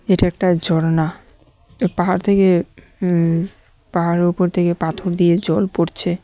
এটা একটা ঝর্ণা পাহাড় থেকে উম পাহাড়ের উপর থেকে পাথর দিয়ে জল পড়ছে।